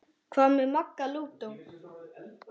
Hvað með Magga lúdó?